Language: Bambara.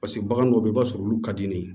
Paseke bagan dɔw bɛ yen i b'a sɔrɔ olu ka di ne ye